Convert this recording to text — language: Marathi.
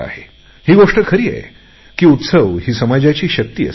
ही गोष्ट खरी आहे की उत्सव ही समाजाची शक्ती असते